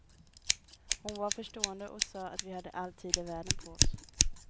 Hon var förstående och sa att vi hade all tid i världen på oss.